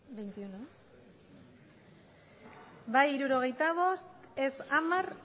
bai berrogeita lau ez hamar